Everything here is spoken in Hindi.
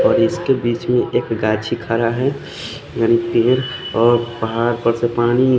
और इसके बीच में एक गाछी खाना है और पहाड़ पर से पानी--